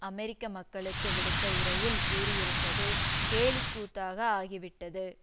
அமெரிக்க மக்களுக்கு விடுத்த உரையில் கூறியிருப்பது கேலிக்கூத்தாக ஆகிவிட்டது